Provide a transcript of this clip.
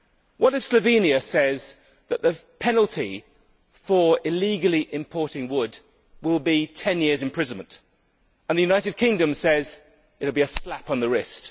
What if Slovenia says that the penalty for illegally importing wood will be 10 years' imprisonment, and the United Kingdom says it will be a slap on the wrist?